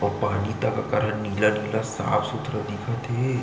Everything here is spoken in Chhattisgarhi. और पानी तक ओकर ह नीला - नीला साफ सुथरा दिखत हे --